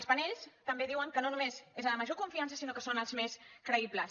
els panels també diuen que no només és la de la major confiança sinó que són els més creïbles